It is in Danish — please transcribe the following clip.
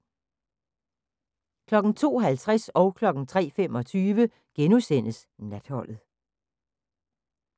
02:50: Natholdet * 03:25: Natholdet *